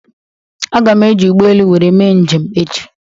Aga m eji ụgbọelu wéré mee njem echi